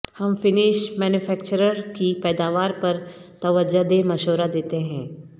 ہم finish manufacturer کی پیداوار پر توجہ دے مشورہ دیتے ہیں